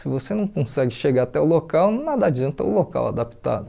Se você não consegue chegar até o local, nada adianta o local adaptado.